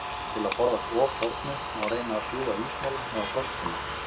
Til að forðast ofþornun, má reyna að sjúga ísmola eða frostpinna.